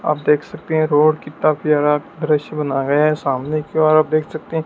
आप देख सकते हैं रोड कितना प्यारा दृश्य बनाया है सामने की ओर आप देख सकते--